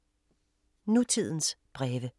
Nutidens breve